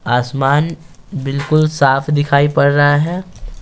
आसमान बिल्कुल साफ दिखाई पड़ रहा है।